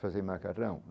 Fazer macarrão.